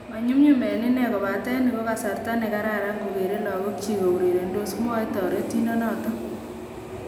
"Manyummyum en inee kobaten nito ko kasarta nekararan kokere lakok chik kourerendos" , mwae terindet noton .